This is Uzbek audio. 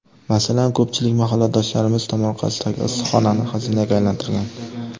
Masalan, ko‘pchilik mahalladoshlarimiz tomorqasidagi issiqxonani xazinaga aylantirgan.